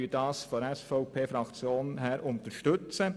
Die SVP-Fraktion unterstützt das.